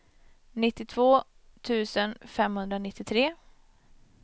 nittiotvå tusen femhundranittiotre